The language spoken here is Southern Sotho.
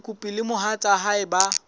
mokopi le mohatsa hae ba